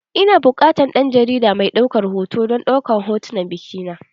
Ina buƙatan dan jarida mai ɗaukar hoto don hotunan bikina.